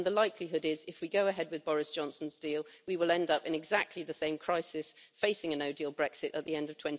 And the likelihood is if we go ahead with Boris Johnson's deal, we will end up in exactly the same crisis facing a no deal Brexit at the end of